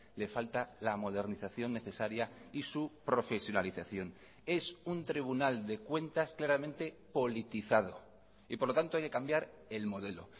le falta la modernización necesaria y su profesionalización es un tribunal de cuentas claramente politizado y por lo tanto hay que cambiar el modelo